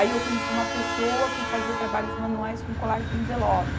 Aí eu conheci uma pessoa que fazia trabalhos manuais com colagem de envelope.